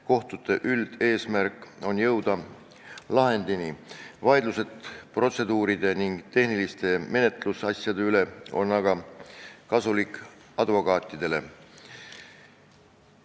Kohtute üldeesmärk on jõuda lahendini, vaidlused protseduuride ning tehniliste menetlusnüansside üle on aga kasulikud advokaatidele.